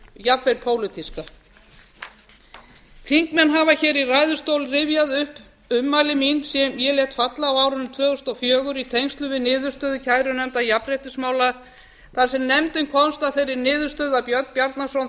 jafnvel pólitíska þingmenn hafa hér í ræðustól rifjað upp ummæli sem ég lét falla á árinu tvö þúsund og fjögur í tengslum við niðurstöðu kærunefndar jafnréttismála þar sem nefndin komst að þeirri niðurstöðu að björn bjarnason